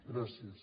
gràcies